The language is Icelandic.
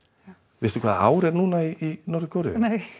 veistu hvaða ár er núna í Norður Kóreu nei